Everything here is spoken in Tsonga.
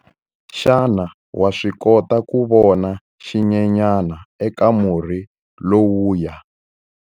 Xana wa swi kota ku vona xinyenyana eka murhi lowuya?